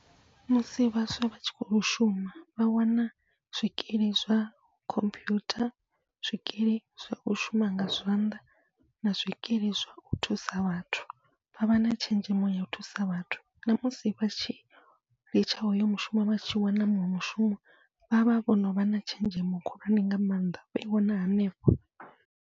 Musi vhaswa vhatshi kho shuma vha wana zwikili zwa khomphuyutha, zwikili zwau shuma nga zwanḓa na zwikili zwau thusa vhathu, vha vha na tshenzhemo yau thusa vhathu. Namusi vhatshi litsha hoyo mushumo vhatshi wana muṅwe mushumo, vha vha vho novha na tshenzhemo khulwane nga maanḓa vho i wana hanefho.